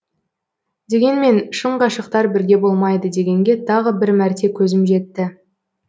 дегенмен шын ғашықтар бірге болмайды дегенге тағы бір мәрте көзім жетті